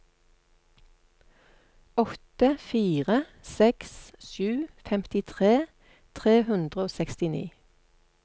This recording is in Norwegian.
åtte fire seks sju femtitre tre hundre og sekstini